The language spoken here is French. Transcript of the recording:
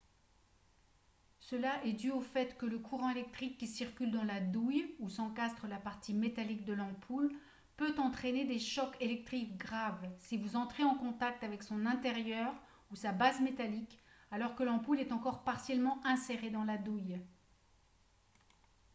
cela est dû au fait que le courant électrique qui circule dans la douille où s'encastre la partie métallique de l'ampoule peut entraîner des chocs électriques graves si vous entrez en contact avec son intérieur ou sa base métallique alors que l'ampoule est encore partiellement insérée dans la douille